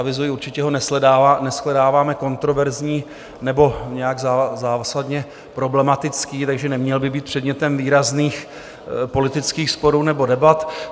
Avizuji, určitě ho neshledáváme kontroverzním nebo nějak zásadně problematickým, takže neměl by být předmětem výrazných politických sporů nebo debat.